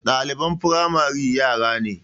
Ɗaliban firamare yara ne